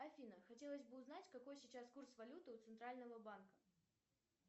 афина хотелось бы узнать какой сейчас курс валюты у центрального банка